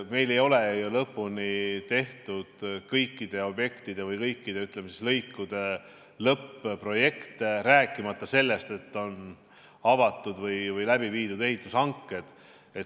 Meil ei ole ju lõpuni valmis tehtud kõikide objektide või kõikide, ütleme, lõikude lõpp-projekte, rääkimata sellest, et oleks avatud või läbi viidud ehitushankeid.